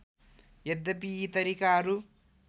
यद्यपि यी तरिकाहरू